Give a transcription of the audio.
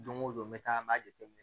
Don o don n bɛ taa n b'a jate minɛ